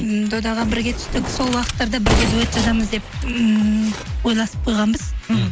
м додаға бірге түстік сол уақыттарда бірге дуэт жазамыз деп ыыы ойласып қойғанбыз мхм